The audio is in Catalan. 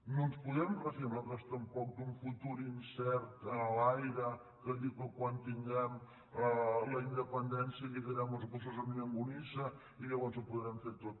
no ens podem refiar nosaltres tampoc d’un futur incert enlaire que diu que quan tinguem la independència lligarem els gossos amb llonganisses i llavors ho podrem fer tot